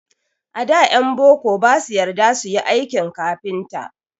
A da ƴan boko ba su yarda su yi aikin kafinta.